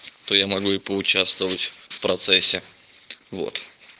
то я могу и поучаствовать в процессе вот